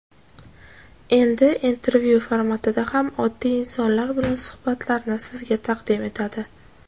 Endi intervyu formatida ham oddiy insonlar bilan suhbatlarni sizga taqdim etadi.